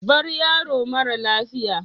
Bar yaro mara lafiya